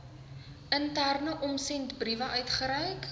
interne omsendbriewe uitgereik